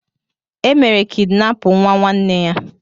E mere kidinapụ nwa nwanne ya.